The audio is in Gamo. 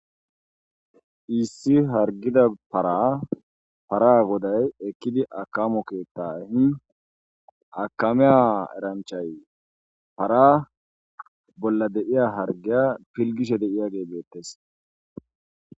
Issi hatrgida para para goday ekidi akimo keeta ehin akamiya eranchayi para bolla de'iya harigiya pilgiyageyi de'esi.